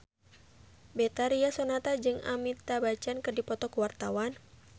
Betharia Sonata jeung Amitabh Bachchan keur dipoto ku wartawan